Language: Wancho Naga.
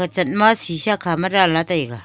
chatma sisa khama danla taiga.